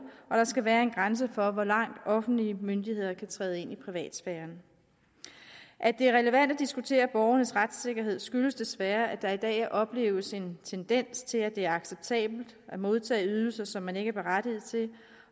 at der skal være en grænse for hvor langt offentlige myndigheder kan træde ind i privatsfæren at det er relevant at diskutere borgernes retssikkerhed skyldes desværre at der i dag opleves en tendens til at det er acceptabelt at modtage ydelser som man ikke er berettiget til